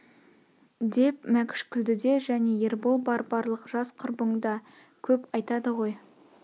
деп мәкш күлді де және ербол бар барлық жас құрбың да көп айтады ғой